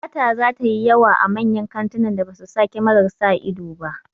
Sata zata yi yawa a manyan kantunan da ba su sa kyamarar sa ido ba